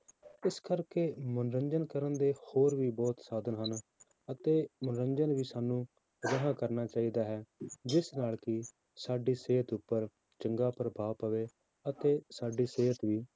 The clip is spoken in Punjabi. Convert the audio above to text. ਇਸ ਕਰਕੇ ਮਨੋਰੰਜਨ ਕਰਨ ਦੇ ਹੋਰ ਵੀ ਬਹੁਤ ਸਾਧਨ ਹਨ, ਅਤੇ ਮਨੋਰੰਜਨ ਸਾਨੂੰ ਅਜਿਹਾ ਕਰਨਾ ਚਾਹੀਦਾ ਹੈ ਜਿਸ ਨਾਲ ਕਿ ਸਾਡੀ ਸਿਹਤ ਉੱਪਰ ਚੰਗਾ ਪ੍ਰਭਾਵ ਪਵੇ, ਅਤੇ ਸਾਡੀ ਸਿਹਤ ਵੀ